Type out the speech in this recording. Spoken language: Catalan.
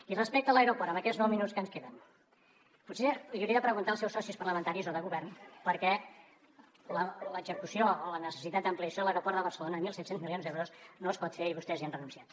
i respecte a l’aeroport en aquests nou segons que ens queden potser els hi hauria de preguntar als seus socis parlamentaris o de govern per què l’execució o la necessitat d’ampliació a l’aeroport de barcelona mil set cents milions d’euros no es pot fer i vostès hi han renunciat